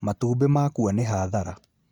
Matumbĩ makua nĩ hathara